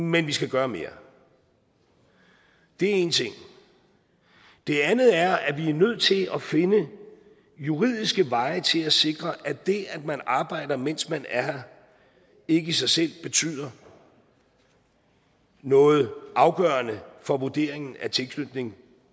men vi skal gøre mere det er en ting det andet er at vi er nødt til at finde juridiske veje til at sikre at det at man arbejder mens man er her ikke i sig selv betyder noget afgørende for vurderingen af tilknytningen